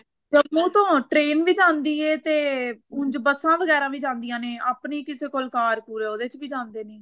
ਜੰਮੂ ਤੋਂ train ਵੀ ਜਾਂਦੀ ਐ ਤੇ ਉੰਝ ਬੱਸਾ ਵਗੈਰਾ ਵੀ ਜਾਂਦੀਆ ਨੇ ਆਪਣੀ ਕਿਸੇ ਕੋਲ ਕਾਰ ਕੁਰ ਉਹਦੇ ਚ ਵੀ ਜਾਂਦੇ ਨੇ